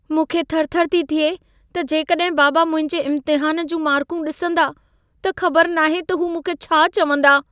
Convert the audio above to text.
मूंखे थरथर थी थिए त जेकॾहिं बाबा मुंहिंजे इम्तिहान जूं मार्कूं ॾिसंदा, त ख़बर नाहे त हू मूंखे छा चवंदा।